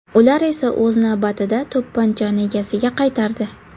Ular esa o‘z navbatida to‘pponchani egasiga qaytardi.